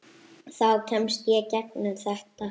Þá kemst ég gegnum þetta.